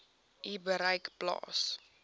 u bereik plaas